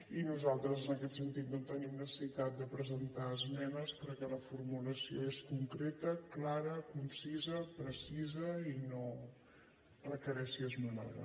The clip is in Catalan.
i nosaltres en aquest sentit no tenim necessitat de presentar esmenes perquè la formulació és concreta clara concisa precisa i no requereix ser esmenada